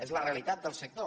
és la realitat del sector